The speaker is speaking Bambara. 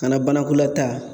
Kana banakolataa